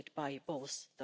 of those data.